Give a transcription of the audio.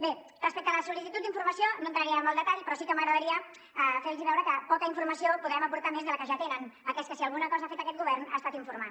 bé respecte a la sol·licitud d’informació no entraré en el detall però sí que m’agradaria fer los veure que poca informació podrem aportar més de la que ja tenen atès que si alguna cosa ha fet aquest govern ha estat informar